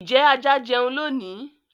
ijẹ àjà jẹún lónì?